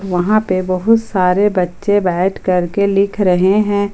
वहां पे बहुत सारे बच्चे बैठ करके लिख रहे हैं।